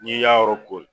N'i y'a yɔrɔ kori